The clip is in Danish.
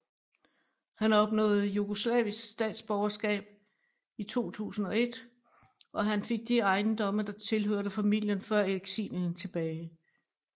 Han opnåede jugoslavisk statsborgerskab i 2001 og han fik de ejendomme der tilhørte familien før eksilen tilbage